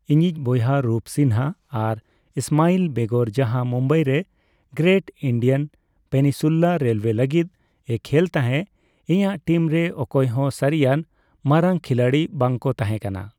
ᱤᱧᱤᱡ ᱵᱚᱭᱦᱟ ᱨᱩᱯ ᱥᱤᱱᱦ ᱟᱨ ᱤᱥᱢᱟᱭᱤᱞ ᱵᱮᱜᱚᱨ ᱡᱟᱦᱟᱸ ᱢᱩᱢᱵᱟᱭ ᱨᱮ ᱜᱨᱮᱴ ᱤᱱᱫᱤᱭᱚᱱ ᱯᱮᱱᱱᱤᱥᱩᱞᱟ ᱨᱮᱞᱣᱮ ᱞᱟᱹᱜᱤᱫ ᱮ ᱠᱷᱮᱞ ᱛᱟᱦᱮᱸ, ᱤᱧᱟᱜ ᱴᱤᱢ ᱨᱮ ᱚᱠᱚᱭ ᱦᱚ ᱥᱟ, ᱨᱤᱭᱟᱱ ᱵᱟᱨᱟᱝ ᱠᱷᱤᱞᱟᱲᱤ ᱵᱟᱝᱠᱚ ᱛᱟᱦᱮᱸ ᱠᱟᱱᱟ᱾